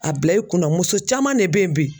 A bila i kun na muso caman de bɛ yen bi